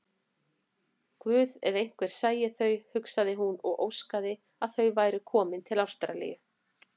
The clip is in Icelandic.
Guð, ef einhver sæi þau, hugsaði hún og óskaði að þau væru komin til Ástralíu.